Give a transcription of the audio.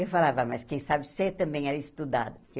Eu falava, mas quem sabe você também era estudado.